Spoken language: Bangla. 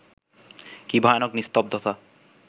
কি ভয়ানক নিস্তব্ধতা